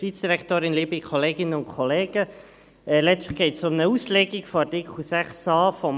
Letztlich geht es um eine Auslegung von Artikel 6a HG.